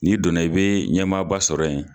N'i donna i bɛ ɲɛmaaba sɔrɔ ye.